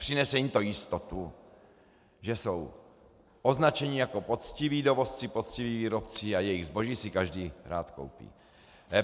Přinese jim to jistotu, že jsou označeni jako poctiví dovozci, poctiví výrobci, a jejich zboží si každý rád koupí.